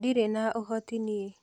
Ndĩrĩ na ũhoti nie.